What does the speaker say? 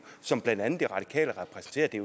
som blandt andet de radikale repræsenterer det